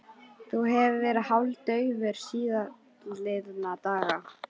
Þú hefur verið hálfdaufur síðastliðna daga